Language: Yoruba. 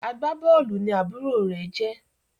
Agbabóòlù ní àbúrò rẹ jé